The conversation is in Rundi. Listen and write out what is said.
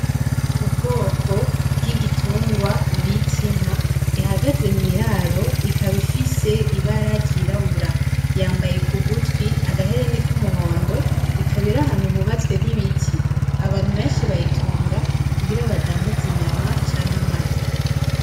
Ubwoko bw'igitungwa bibitinka ihagaze mw'iraro ikaba ifise ibara ryirabura yambaye ku gutwi agahereni k'umuhondo ikaba irahantu hubatswe n'ibiti abantu benshi bayitunga kugira abadandazi inyama canke amata.